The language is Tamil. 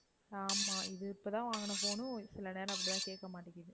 ஆமாம் இது இப்ப தான் வாங்கின phone உ சில நேரம் அப்படி தான் கேட்க மாட்டேங்குது.